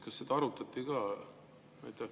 Kas seda arutati ka?